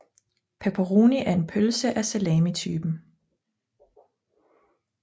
Pepperoni er en pølse af salamitypen